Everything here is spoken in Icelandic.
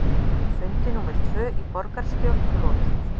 Fundi númer tvö í borgarstjórn lokið